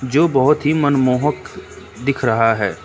जो बहोत ही मनमोहक दिख रहा है।